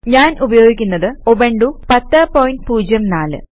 ഞാൻ ഉപയോഗിക്കുന്നത് ഉബണ്ടു 1004